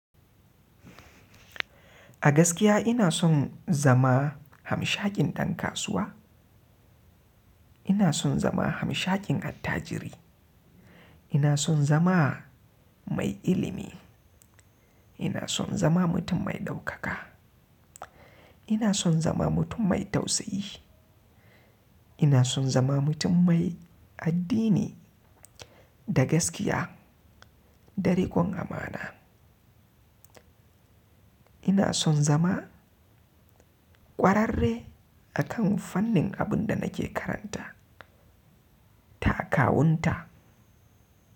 A gaskiya ina son zama hamshaƙin ɗan kasuwa, ina son zama hamshaƙin attajiri, ina son zama mai ilimi, ina son zama mutum mai ɗaukaka, ina son zama mutum mai tausayi, ina son zama mutum mai addini da gaskiya, da riƙon amana. Ina son zama ƙwararre a kan fannin abin da nake karanta, takawunta.